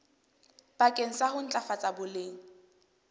bakeng sa ho ntlafatsa boleng